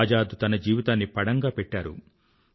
ఆజాద్ తన జీవితాన్ని పణంగా పెట్టారు